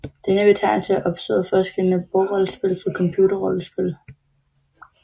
Denne betegnelse er opstået for at skelne bordrollespil fra computerrollespil